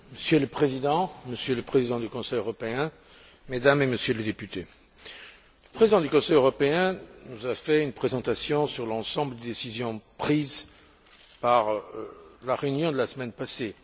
Monsieur le Président, Monsieur le Président du Conseil européen, Mesdames et Messieurs les députés, le Président du Conseil européen nous a fait une présentation sur l'ensemble des décisions prises lors de la réunion de la semaine passée.